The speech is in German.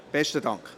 Besten Dank.